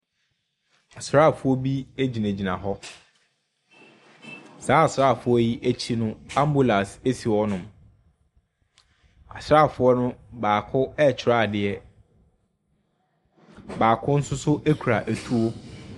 Asraafoɔ bi gyinagyina hɔ. Sa asraafoɔ yi akyi no, ambulance si hɔnom. Asraafoɔ no baako retwerɛ adeɛ. Baako nso so kura tuo.